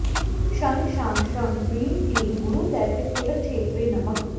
ॐ शं शां षं ह्रीं क्लीं गुरुदैत्यकुलच्छेत्रे नमः